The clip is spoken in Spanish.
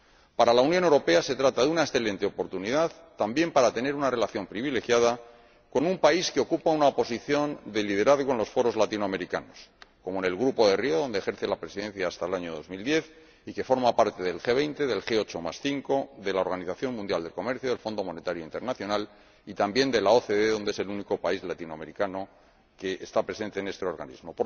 Para la Unión Europea se trata de una excelente oportunidad también para tener una relación privilegiada con un país que ocupa una posición de liderazgo en los foros latinoamericanos, como en el Grupo de Río, donde ejerce la presidencia hasta el año 2010, y que forma parte del G 20, del G85, de la Organización Mundial del Comercio, del Fondo Monetario Internacional y, también, de la OCDE, siendo el único país latinoamericano que está presente en este organismo.